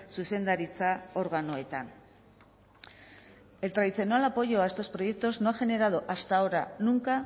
zuzendaritza organoetan el tradicional apoyo a estos proyectos no ha generado hasta ahora nunca